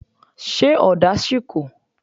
Ṣé ọ̀dà sì kù?